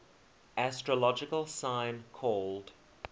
astrological sign called